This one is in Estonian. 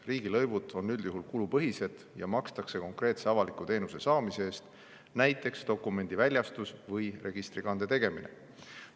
Riigilõivud on üldjuhul kulupõhised ja neid makstakse konkreetse avaliku teenuse saamise eest, näiteks dokumendi väljastuse või registrikande tegemise eest.